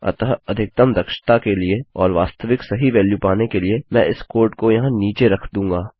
अतःअधिकतम दक्षता के लिए और वास्तविक सही वेल्यू पाने के लिए मैं इस कोड को यहाँ नीचे रख दूँगा